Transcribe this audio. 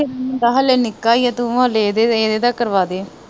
ਨਿੱਕਾ ਈਆ ਤੂੰ ਹਲੇ ਇਹਦੇ ਦੇ ਇਹਦੇ ਦਾ ਕਰਵਾਦੇ।